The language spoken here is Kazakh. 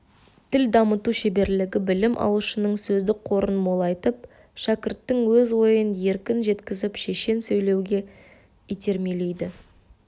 тіл дамыту шеберлігі білім алушының сөздік қорын молайтып шәкірттің өз ойын еркін жеткізіп шешен сөйлеуге итермелейді